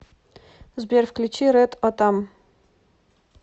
сбер включи рэд отам